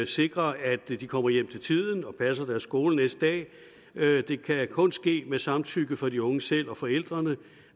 sikre at de kommer hjem til tiden og passer deres skole næste dag det kan kun ske med samtykke fra de unge selv og forældrene